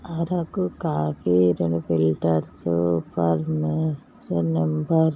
Araku coffee రెండు filters ఫర్ని సున్నం --